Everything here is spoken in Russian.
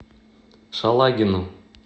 шалагину